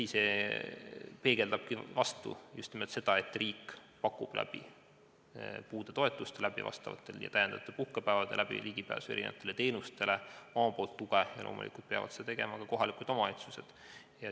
See peegeldabki just nimelt seda, et riik pakub puudetoetuste, täiendavate puhkepäevade ja erinevate teenuste kaudu omalt poolt tuge, ning loomulikult peavad seda tegema ka kohalikud omavalitsused.